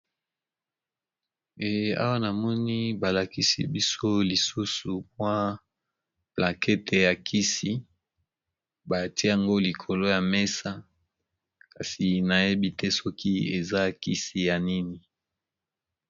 Awa namoni balakisi biso lisusu moi plakete ya kisi batiyango likolo ya mesa kasi nayebi te soki eza kisi ya nini.